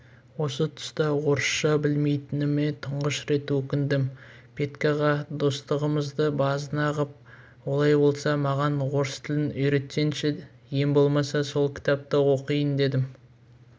осы тұста орысша білмейтініме тұңғыш рет өкіндім петькаға достығымызды базына ғып олай болса маған орыс тілін үйретсеңші ең болмаса сол кітапты оқиын дедім